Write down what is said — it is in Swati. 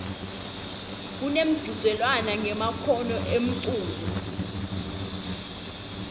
kunemchudzelwano ngemakhono emculo